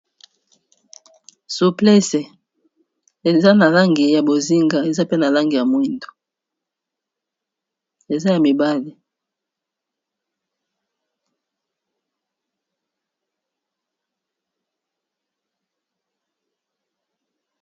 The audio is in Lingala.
Souplece eza na langi ya bozinga eza pe na langi ya mwindo eza ya mibale.